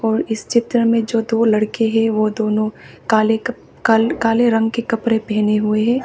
और इस चित्र में जो दो लड़के हैं वो दोनों काले काले काले रंग के कपड़े पहने हुए हैं।